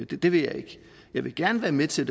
det det vil jeg ikke jeg vil gerne være med til